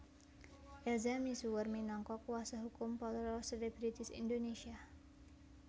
Elza misuwur minangka kuasa hukum para selebritis Indonesia